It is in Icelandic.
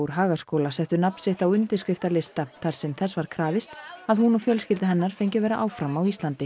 Hagaskóla settu nafn sitt á undirskriftarlista þar sem þess var krafist að hún og fjölskylda hennar fengju að vera áfram á Íslandi